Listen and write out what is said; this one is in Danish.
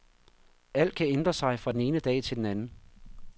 Alt kan ændre sig fra den ene dag til den anden.